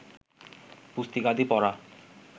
পুস্তিকাদি পড়া